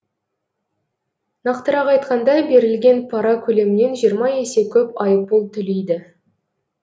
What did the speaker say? нақтырақ айтқанда берілген пара көлемінен жиырма есе көп айыппұл төлейді